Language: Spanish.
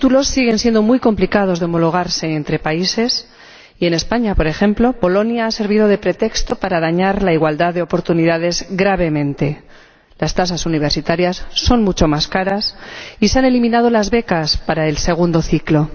sigue siendo muy complicado homologar los títulos entre países y, en España, por ejemplo, Bolonia ha servido de pretexto para dañar gravemente la igualdad de oportunidades las tasas universitarias son mucho más caras y se han eliminado las becas para el segundo ciclo.